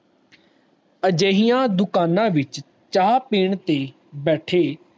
ਅਜਿਹੀਆਂ ਦੁਕਾਨਾਂ ਵਿਚ ਚਾਹ ਪੀਣ ਤੇ ਬੈਠੇ